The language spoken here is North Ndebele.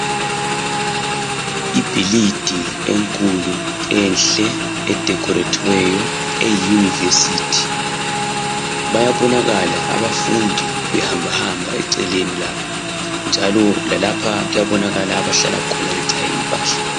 ibhilidi enkulu enhle e decorathiweyo e university bayabonakala abafundi behamba hamba eceleni lapho njalo lalapha kuyabonkala lapha abahlala khona bechaye impahla